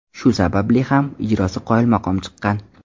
Shu sabab ham ijrosi qoyilmaqom chiqqan.